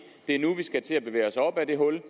er nu vi skal til at bevæge os op af det hul